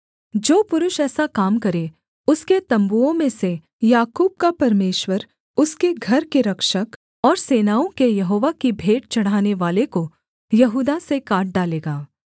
जो पुरुष ऐसा काम करे उसके तम्बुओं में से याकूब का परमेश्वर उसके घर के रक्षक और सेनाओं के यहोवा की भेंट चढ़ानेवाले को यहूदा से काट डालेगा